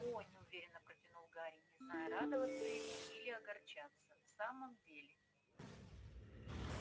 о неуверенно протянул гарри не зная радоваться ему или огорчаться в самом деле